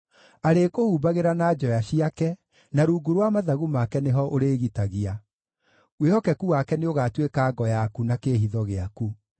Arĩkũhumbagĩra na njoya ciake, na rungu rwa mathagu make nĩho ũrĩĩgitagia; wĩhokeku wake nĩũgatuĩka ngo yaku na kĩĩhitho gĩaku.